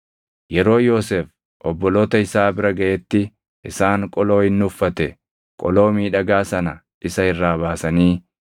Yeroo Yoosef obboloota isaa bira gaʼetti isaan qoloo inni uffate, qoloo miidhagaa sana isa irraa baasanii,